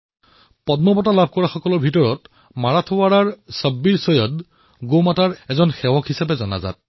পদ্ম পুৰষ্কাৰ প্ৰাপ্ত মাৰাঠৱাড়ৰ ছব্বীৰ চৈয়দক গোমাতাৰ সেৱক হিচাপে জনা যায়